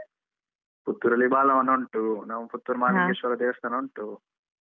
ಪುತ್ತೂರಲ್ಲಿ ಬಾಲವನ ಉಂಟು ನಾವು ಪುತ್ತೂರು ಮಹಾಲಿಂಗೇಶ್ವರ ದೇವಸ್ಥಾನ ಉಂಟು.